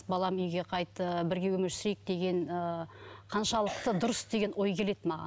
балам үйге қайт ы бірге өмір сүрейік деген ы қаншалықты дұрыс деген ой келеді маған